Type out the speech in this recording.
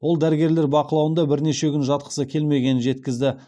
ол дәрігерлер бақылауында бірнеше күн жатқысы келмегенін жеткізді